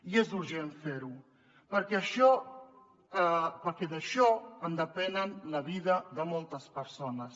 i és urgent fer ho perquè d’això en depèn la vida de moltes persones